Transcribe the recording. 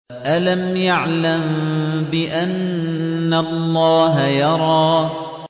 أَلَمْ يَعْلَم بِأَنَّ اللَّهَ يَرَىٰ